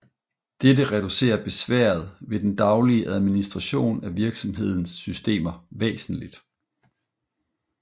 Dette reducerer besværet ved den daglige administration af virksomhedens systemer væsentligt